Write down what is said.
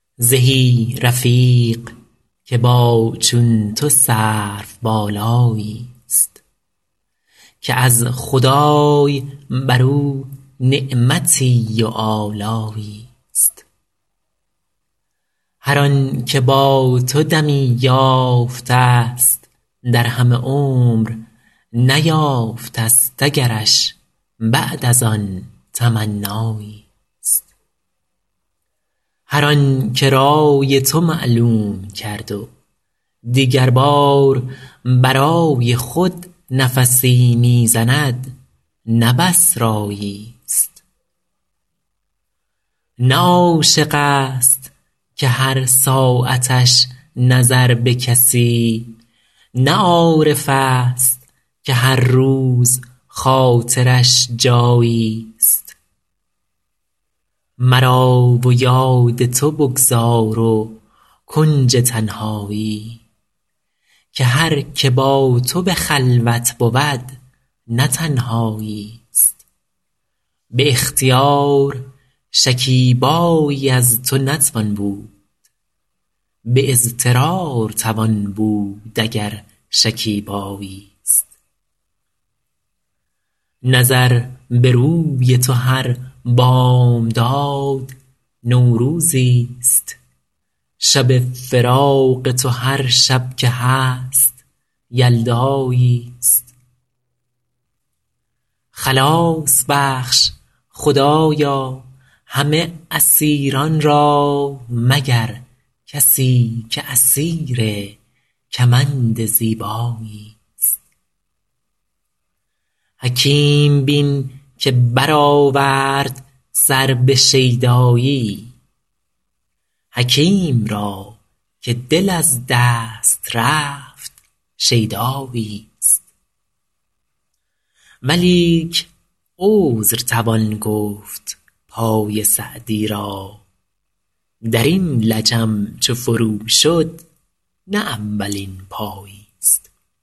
زهی رفیق که با چون تو سروبالایی است که از خدای بر او نعمتی و آلایی است هر آن که با تو دمی یافته است در همه عمر نیافته است اگرش بعد از آن تمنایی است هر آن که رای تو معلوم کرد و دیگر بار برای خود نفسی می زند نه بس رایی است نه عاشق است که هر ساعتش نظر به کسی نه عارف است که هر روز خاطرش جایی است مرا و یاد تو بگذار و کنج تنهایی که هر که با تو به خلوت بود نه تنهایی است به اختیار شکیبایی از تو نتوان بود به اضطرار توان بود اگر شکیبایی است نظر به روی تو هر بامداد نوروزی است شب فراق تو هر شب که هست یلدایی است خلاص بخش خدایا همه اسیران را مگر کسی که اسیر کمند زیبایی است حکیم بین که برآورد سر به شیدایی حکیم را که دل از دست رفت شیدایی است ولیک عذر توان گفت پای سعدی را در این لجم چو فرو شد نه اولین پایی است